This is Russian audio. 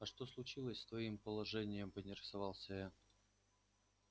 а что случилось с твоим положением поинтересовался я